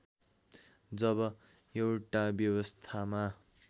जब एउटा व्यवस्थामा